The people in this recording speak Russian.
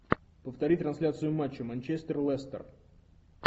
повтори трансляцию матча манчестер лестер